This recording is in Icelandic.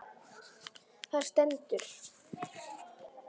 Það stendur